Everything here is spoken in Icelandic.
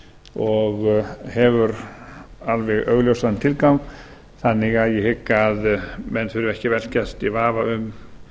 og hefur alveg augljósan tilgang þannig að ég hygg að menn þurfi ekki að velkjast í vafa um